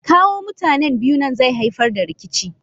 Kawo mutanen biyu nan zai haifar da rikici.